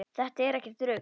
Þetta er ekkert rugl.